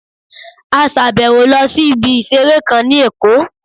A sàbẹ̀wo lọ sí ibi ìseré kan ní Èkó